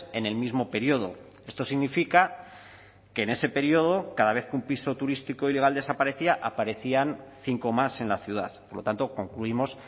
en el mismo periodo esto significa que en ese periodo cada vez que un piso turístico ilegal desaparecía aparecían cinco más en la ciudad por lo tanto concluimos